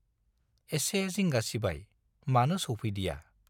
एसे जिंगा सिबाय - मानो सौफैदिया!